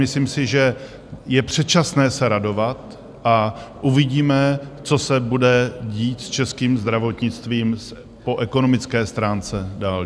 Myslím si, že je předčasné se radovat, a uvidíme, co se bude dít s českým zdravotnictvím po ekonomické stránce dál.